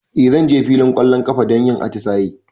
E, zan je filin ƙwallon ƙafa don yin atisaye.